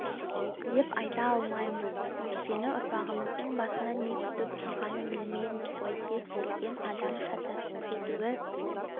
деп айта алмаймыз өйткені ұрпағымыздың басында не күтіп тұрғанын білмейміз ғой кез келген адам шатасып кетуі